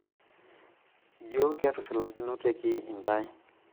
jio ketushulakinoteki intae?